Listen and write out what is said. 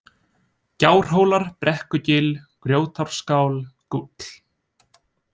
Gjárhólar, Brekkugil, Grjótárskál, Gúll